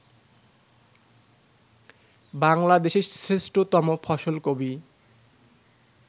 বাংলাদেশের শ্রেষ্ঠতম ফসল কবি